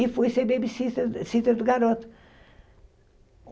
E fui ser babysister sitter do garoto.